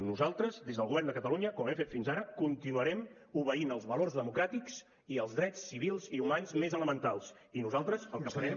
nosaltres des del govern de catalunya com hem fet fins ara continuarem obeint els valors democràtics i els drets civils i humans més elementals i nosaltres el que farem